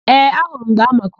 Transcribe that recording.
Ee, ahụrụ m mgbe ha makụrụ.